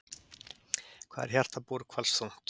Hvað er hjarta búrhvals þungt?